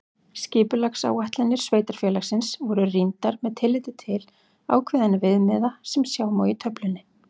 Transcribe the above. Skipulagsáætlanir sveitarfélagsins voru rýndar með tilliti til ákveðinna viðmiða sem sjá má í töflunni.